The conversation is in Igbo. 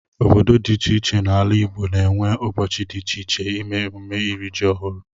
Obodo dị iche iche n'ala Igbo ga-enwe ụbọchị dị iche ime ememme iri ji ọhụrụ.